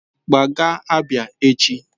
Gbaa gaa Abia echi!